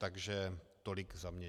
Takže tolik za mě.